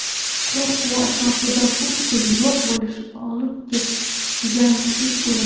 Qo‘rquv ortidan butkul yo‘q bo‘lishni olib keladigan kichik o‘lim.